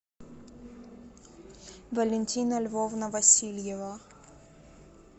валентина львовна васильева